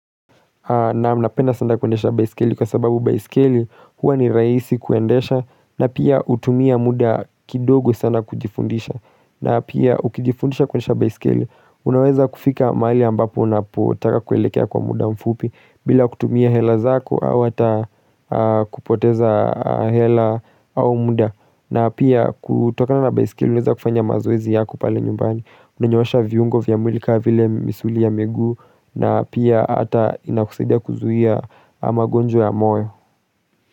Naam napenda sana kuendesha baiskeli kwa sababu baiskeli huwa ni rahisi kuendesha na pia hutumia muda kidogo sana kujifundisha na pia ukijifundisha kuendesha baiskeli unaweza kufika mahali ambapo unapotaka kuelekea kwa muda mfupi bila kutumia hela zako au hata kupoteza hela au muda na pia kutokana na baiskeli unaweza kufanya mazoezi yako pale nyumbani. Unanyoosha viungo vya mwili kama vile misuli ya miguu na pia hata inakusaidia kuzuia magonjwa ya moyo.